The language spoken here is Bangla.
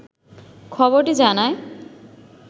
খবরটি জানায়